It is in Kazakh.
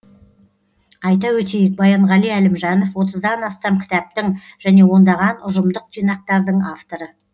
айта өтейік баянғали әлімжанов отыздан астам кітаптың және ондаған ұжымдық жинақтардың авторы